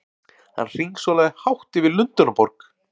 Hann hringsólaði hátt yfir Lundúnaborg!